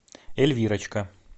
эльвирочка